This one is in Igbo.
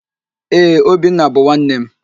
Ee, Obinna bụ nwanne m.